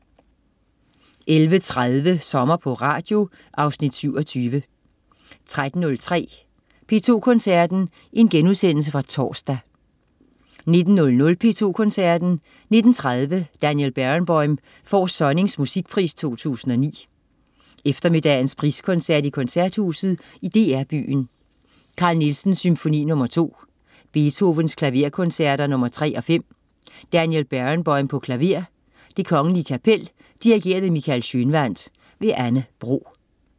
11.30 Sommer på Radio. Afsnit 27 13.03 P2 Koncerten. Genudsendelse fra torsdag 19.00 P2 Koncerten. 19.30 Daniel Barenboim får Sonnings Musikpris 2009. Eftermiddagens priskoncert i Koncerthuset i DR Byen. Carl Nielsen: Symfoni nr. 2. Beethoven: Klaverkoncerter nr. 3 og 5. Daniel Barenboim, klaver. Det Kgl. Kapel. Dirigent: Michael Schønwandt. Anne Bro